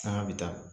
Sanga bɛ taa